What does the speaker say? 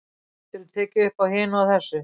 Getur tekið uppá hinu og þessu.